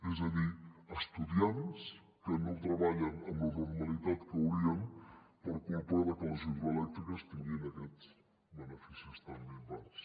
és a dir estudiants que no treballen amb la normalitat que haurien per culpa de que les hidroelèctriques tinguin aquests beneficis tan minvats